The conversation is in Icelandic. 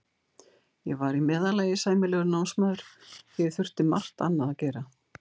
Ég var í meðallagi sæmilegur námsmaður því ég þurfti margt annað að gera.